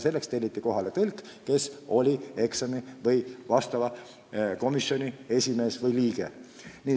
Selleks telliti kohale tõlk, kes oli komisjoni liige.